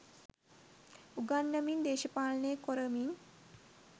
උගන්නමින් දේශපාලනේ කොරමින්